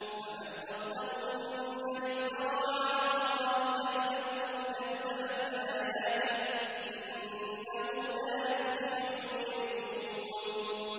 فَمَنْ أَظْلَمُ مِمَّنِ افْتَرَىٰ عَلَى اللَّهِ كَذِبًا أَوْ كَذَّبَ بِآيَاتِهِ ۚ إِنَّهُ لَا يُفْلِحُ الْمُجْرِمُونَ